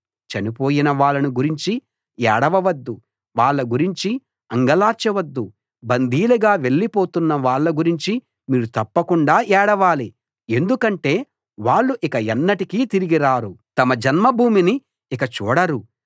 చనిపోయిన వాళ్ళను గురించి ఏడవవద్దు వాళ్ళ గురించి అంగలార్చవద్దు బందీలుగా వెళ్లిపోతున్నవాళ్ళ గురించి మీరు తప్పకుండా ఏడవాలి ఎందుకంటే వాళ్ళు ఇక ఎన్నటికీ తిరిగిరారు తమ జన్మభూమిని ఇక చూడరు